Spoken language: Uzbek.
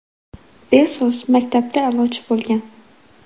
Bezos maktabda a’lochi bo‘lgan.